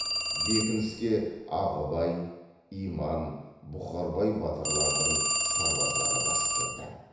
бекініске ағыбай иман бұқарбай батырлардың сарбаздары басып кірді